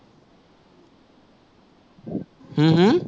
হম হম